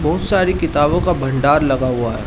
बहुत सारी किताबो का भंडार लगा हुआ है।